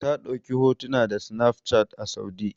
Ta ɗauki hotuna da sinafcat a Saudi.